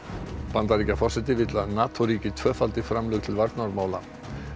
Bandaríkjaforseti vill að NATO ríki tvöfaldi markmið framlög til varnarmála